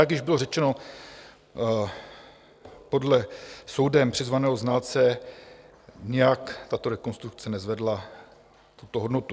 Jak již bylo řečeno, podle soudem přizvaného znalce nijak tato rekonstrukce nezvedla tuto hodnotu.